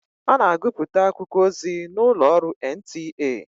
Ọ na agụpụta akụkọ ozi n'ụlọ ọrụ NTA.